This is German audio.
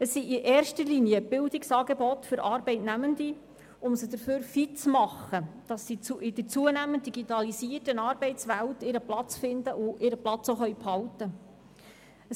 Es sind in erster Linie Bildungsangebote für Arbeitnehmende, die sie fit machen, damit sie in der zunehmend digitalisierten Arbeitswelt ihren Platz finden und ihren Platz auch behalten können.